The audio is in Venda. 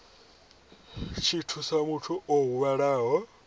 tshi thusa muthu o huvhalaho